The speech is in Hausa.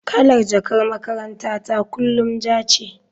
Kalar jakar makarantata kullum ja ce.